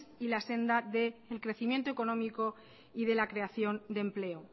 y la senda de un crecimiento económico y la creación de empleo